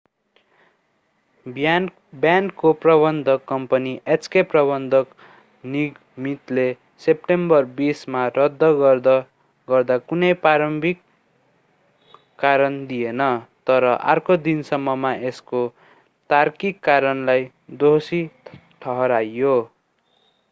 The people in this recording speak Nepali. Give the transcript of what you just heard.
ब्यान्डको प्रबन्धक कम्पनी hk प्रबन्धक निगमितले सेप्टेम्बर 20 मा रद्द गर्दा कुनै प्रारम्भिक कारण दिएन तर अर्को दिनसम्ममा यसको तार्किक कारणलाई दोषी ठहर्‍यायो।